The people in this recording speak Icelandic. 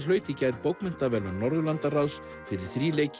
hlaut í gær bókmenntaverðlaun Norðurlandaráðs fyrir